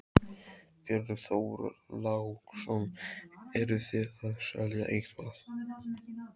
Björn Þorláksson: Eruð þið að selja eitthvað?